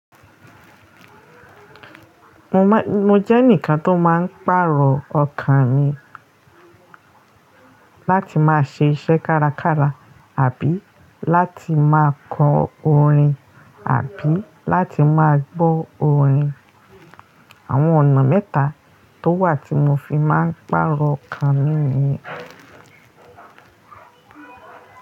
Mo jẹ́ eǹikan tó máa ń pàrọ̀ ọkàn mi láti máa ṣe iṣẹ́ kárakára àbí láti máa kọ orin àbí láti máa gbọ́ orin. Àwọn ọ̀nà mẹ́ta tó wà tí mo fi máa ń pàrọ̀ ọkàn mi ni.